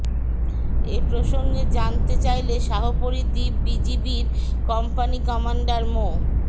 এ প্রসঙ্গে জানতে চাইলে শাহপরী দ্বীপ বিজিবির কোম্পানি কমান্ডর মো